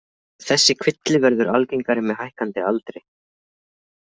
Þessi kvilli verður algengari með hækkandi aldri.